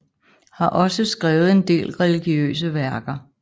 Har også skrevet en del religiøse værker